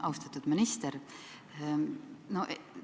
Austatud minister!